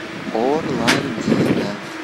орландина